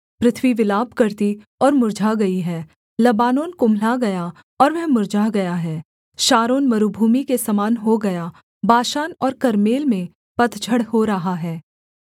पृथ्वी विलाप करती और मुर्झा गई है लबानोन कुम्हला गया और वह मुर्झा गया है शारोन मरूभूमि के समान हो गया बाशान और कर्मेल में पतझड़ हो रहा है